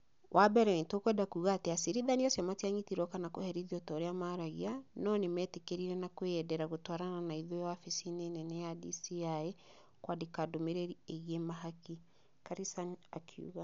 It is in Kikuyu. "wa bere, nĩtũkwenda kuga atĩ acirithania acio matianyitirũo kana kũherithio ta ũrĩa maraiga, no nĩ meetĩkĩrire na kwĩyendera gũtwarana na ithuĩ wabici-inĩ nene ya DCĩ kwandĩka ndumĩrĩri ĩgiĩ mahaki", Karisa nĩ akiuga.